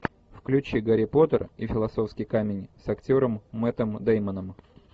включи гарри поттер и философский камень с актером мэттом дэймоном